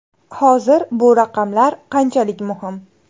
Hozir bu raqamlar qanchalik muhim?